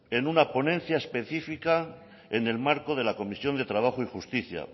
en una ponencia específica en el marco de la comisión de trabajo y justicia